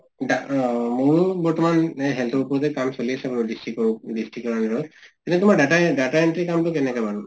মোৰ বৰ্তমান এনেই health ৰ ওপৰতে কাম চলি আছে বাৰু district district । এনেই তোমাৰ data data entry কাম টো কেনেকুৱা মানে?